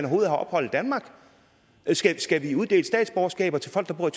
have ophold i danmark skal vi uddele statsborgerskaber til folk der bor